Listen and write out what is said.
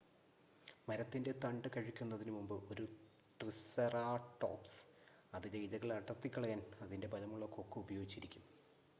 മരത്തിൻ്റെ തണ്ട് കഴിക്കുന്നതിനുമുൻപ് ഒരു ട്രിസെറാടോപ്സ് അതിലെ ഇലകൾ അടർത്തിക്കളയാൻ അതിൻ്റെ ബലമുള്ള കൊക്ക് ഉപയോഗിച്ചിരിക്കാം